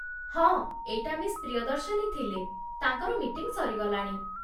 ହଁ, ଏଇଟା ମିସ୍ ପ୍ରିୟଦର୍ଶିନୀ ଥିଲେ, ତାଙ୍କର ମିଟିଂ ସରିଗଲାଣି ।